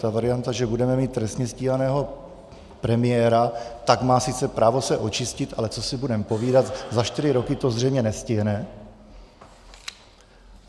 Ta varianta, že budeme mít trestně stíhaného premiéra, tak má sice právo se očistit, ale co si budeme povídat, za čtyři roky to zřejmě nestihne.